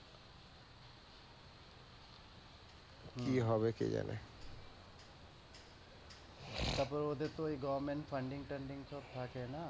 কি হবে কে জানে। তারপর ওতে তো ঐ government funding তান্দিং সব কাটে না।